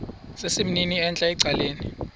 sesimnini entla ecaleni